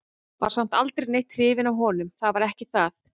Var samt aldrei neitt hrifin af honum, það var ekki það.